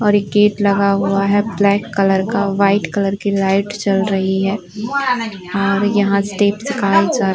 और एक गेट लगा हुआ है ब्लैक कलर का वाइट कलर की लाइट जल रही है और यहाँ स्टेप्स सिखाये जा --